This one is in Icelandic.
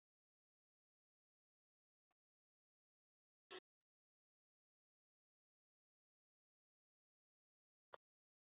Um er að ræða þjálfara fyrir yngri flokka félagsins í vetur og í sumar.